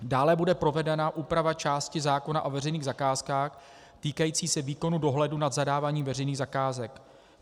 Dále bude provedena úprava části zákona o veřejných zakázkách týkající se výkonu dohledu nad zadáváním veřejných zakázek.